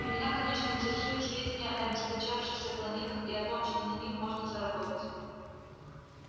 и меня конечно интересуют сведения об истощившихся планетах и о том что на них можно заработать